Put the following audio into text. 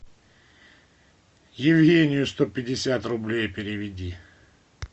евгению сто пятьдесят рублей переведи